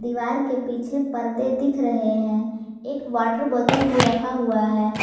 दीवार के पीछे पर्दे दिख रहे हैं एक वाटर बोतल भी रखा हुआ है।